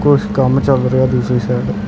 ਕੁਛ ਕੰਮ ਚੱਲ ਰਿਹਾ ਦੂਜੀ ਸੈਡ ।